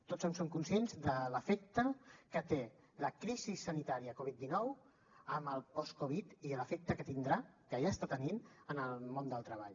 tots som conscients de l’efecte que té la crisi sanitària covid dinou amb el post covid i l’efecte que tindrà que ja està tenint en el món del treball